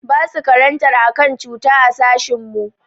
Basu karantar akan cutta a sashin mu.